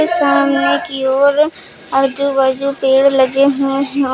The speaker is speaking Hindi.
सामने की ओर आजू बाजू पेड़ लगे हुए हैं औ--